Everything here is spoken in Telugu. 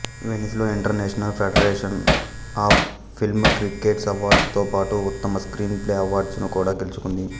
వెనిస్ లో international federation of film critics అవార్డుతోపాటు ఉత్తమ స్క్రీన్ ప్లే అవార్డును కూడా గెలుచుకుంది